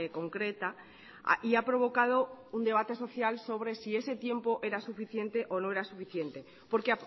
concreta y ha provocado un debate social sobre si ese tiempo era suficiente o no era suficiente porque